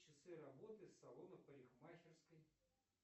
часы работы салона парикмахерской